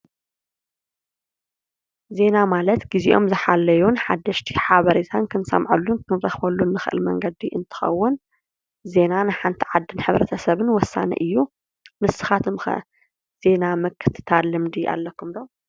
ዜና ማለት ግዚኦም ዝሓለዩን ሓደሽቲ ሓበሬታ ክንሰምዐሉን ክንረክበሉን እንክእል መንገዲ እንትከውን ዜና ንሓንቲ ዓዲን ሕ/ሰብን ወሳኒ እዩ፡፡ ንስካትኩም ከ ዜና ምክትታል ልምዲ ኣለኩም ዶ?